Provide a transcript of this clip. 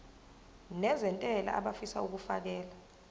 nezentela abafisa uukfakela